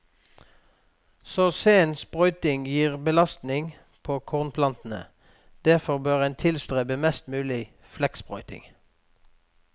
Så sen sprøyting gir belastning på kornplantene, derfor bør en tilstrebe mest mulig flekksprøyting.